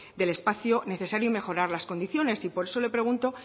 del espacio necesario y mejorar las condiciones y por eso le pregunto